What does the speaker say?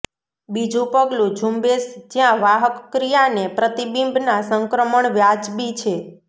બીજું પગલું ઝુંબેશ જ્યાં વાહક ક્રિયાને પ્રતિબિંબ ના સંક્રમણ વાજબી છે